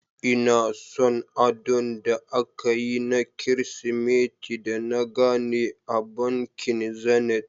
Ina son adon da akayi na kirismeti da na gane a bankin Zenith.